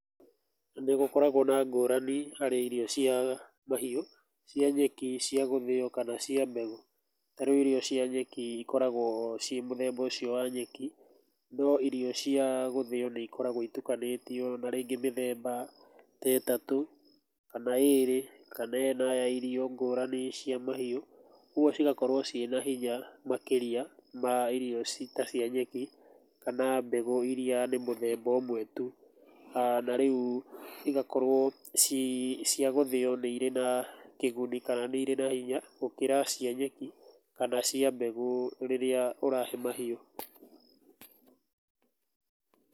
Nĩgũkoragwo na ngũrani harĩ irio cia mahiũ, cia nyeki, cia gũthĩo kana cia mbegũ. Ta rĩu irio cia nyeki ikoragwo ciĩ mũthemba ũcio wa nyeki no irio cia gũthio nĩ ikoragwo itukanĩtio na rĩngĩ mĩthemba ta ĩtatũ, kana ĩrĩ kana ĩna ya irio ngũrani cia mahiũ, ũguo cigakorwo ciĩ na hinya makĩria ma irio ta cia nyeki kana mbegũ iria nĩ mũthemba ũmwe tu. Na rĩu igakorwo cia gũthĩo nĩ irĩ na kĩguni kana nĩ irĩ na hinya gũkĩra cia nyeki kana cia mbegũ rĩrĩa ũrahe mahiũ.